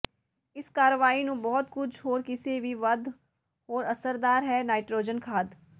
ਇਸ ਕਾਰਵਾਈ ਨੂੰ ਬਹੁਤ ਕੁਝ ਹੋਰ ਕਿਸੇ ਵੀ ਵੱਧ ਹੋਰ ਅਸਰਦਾਰ ਹੈ ਨਾਈਟ੍ਰੋਜਨ ਖਾਦ